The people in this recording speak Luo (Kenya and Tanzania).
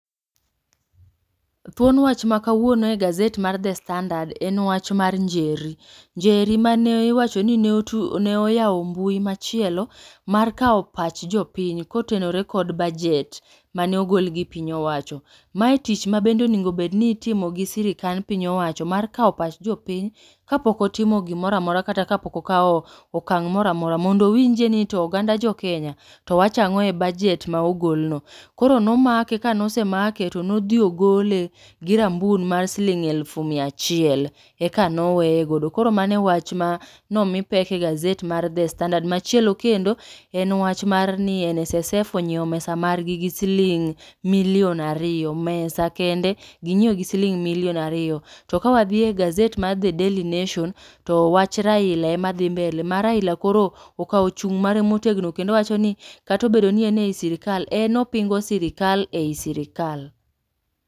Thuon wach ma kawuono e gazet mar The Standard en wach mar Njeri, Njeri mane iwacho ni ne otu ne oyawo mbui machielo. Mar kawo pach jopiny kotenore kod bajet, mane ogol gi piny owacho. Mae tich ma bende onegobedni itimo gi sirikand piny owacho mar kawo pach jopiny kapok otimo gimora mora kata kapok okawomokang' mora mora. Mondo owinjie ni to oganda jo Kenya to wachang'o e bajet ma ogol no. Koro nomake ka nosemake to nodhi ogole gi rambun mar siling' alufu miya achiel, eka noweye godo. Koro mano e wach ma nomi pek e gazet mar The Standard. Machielo kendo, en wach mar ni NSSF onyiewo mesa margi gi siling' milion ariyo, mesa kende ginyiewo gi siking' milion ariyo. To kawadhi e gazet mar The Daily Nation, to wach Raila ema dhi mbele. Ma Raila koro okawo chung' mare motegno, kendo wacho ni katobedo ni en ei sirikal, en opingo sirikal ei sirikal.